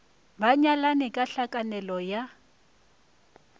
ba nyalane ka tlhakanelo ya